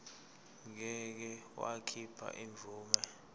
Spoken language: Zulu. ngeke wakhipha imvume